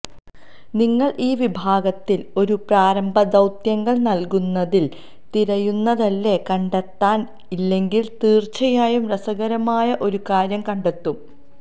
നിങ്ങൾ ഈ വിഭാഗത്തിൽ ഒരു പ്രാരംഭ ദൌത്യങ്ങൾ നൽകുന്നതിൽ തിരയുന്നതല്ലേ കണ്ടെത്താൻ ഇല്ലെങ്കിൽ തീർച്ചയായും രസകരമായ ഒരു കാര്യം കണ്ടെത്തും